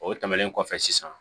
O tɛmɛnen kɔfɛ sisan